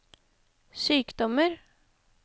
sykdommer